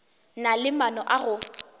na le maano a go